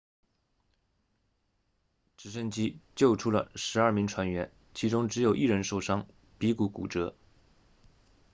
直升机救出了12名船员其中只有一人受伤鼻骨骨折